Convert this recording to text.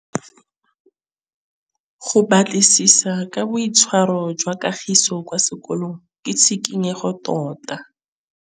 Go batlisisa ka boitshwaro jwa Kagiso kwa sekolong ke tshikinyêgô tota.